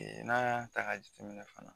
N'an y'a ta ka jateminɛ fana.